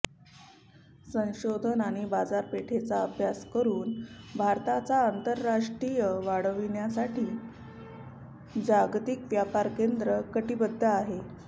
संशोधन आणि बाजारपेठेचा अभ्यास करून भारताचा आंतरराष्ट्रीय वाढविण्यासाठी जागतिक व्यापार केंद्र कटिबद्ध आहे